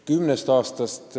Kümnest aastast.